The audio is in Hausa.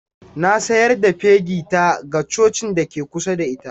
Na sayar da fegi ta ga cocin da ke kusa da ita.